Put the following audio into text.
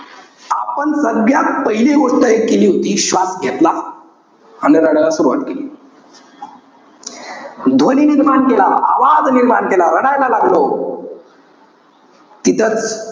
आपण सगळ्यात पहिली गोष्ट एक केली होती. श्वास घेतला, आणि रडायला सुरवात केली. ध्वनी निर्माण केला, आवाज निर्माण केला. रडायला लागलो. तिथंच,